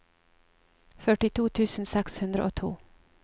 førtito tusen seks hundre og to